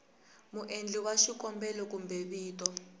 muendli wa xikombelo kumbe vito